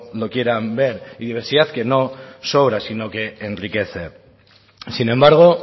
lo quieran ver y diversidad que no sobra sino que enriquece sin embargo